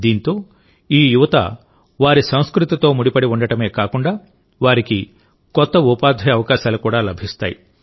దీంతో ఈ యువత వారి సంస్కృతితో ముడిపడి ఉండటమే కాకుండావారికి కొత్త ఉపాధి అవకాశాలు కూడా లభిస్తాయి